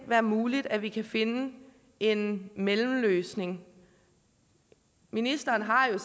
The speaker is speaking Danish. være muligt at vi kan finde en mellemløsning ministeren har jo